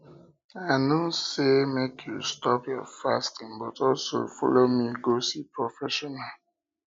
i no say make you stop your fasting but also follow me go see professional